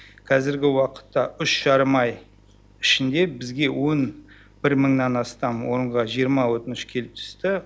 қазіргі уақытта үш жарым ай ішінде бізге он бір мыңнан астам орынға жиырма өтініш келіп түсті